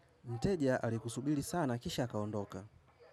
Mteja alikusubiri sana kisha akaondoka.